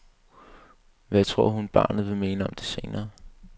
Hvad tror hun, at barnet vil mene om det senere?